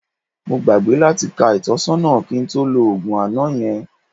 Mo gbàgbé láti ka ìtọ́sọ́nà kí n tó lo òògùn àná yẹn